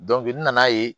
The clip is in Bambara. n nana ye